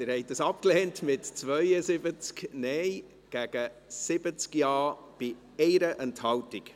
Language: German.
Sie haben das Postulat abgelehnt, mit 72 Nein- gegen 70 Ja-Stimmen bei 1 Enthaltung.